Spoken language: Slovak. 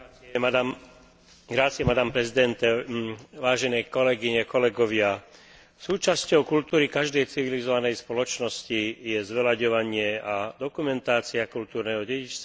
Súčasťou kultúry každej civilizovanej spoločnosti je zveľaďovanie a dokumentácia kultúrneho dedičstva s cieľom lepšie šíriť spoločné hodnoty a predávať ich ďalším generáciám.